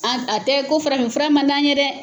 An a tɛ ko farafin fura mandi an ɲe dɛ.